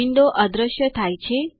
window અદ્રશ્ય થાય છે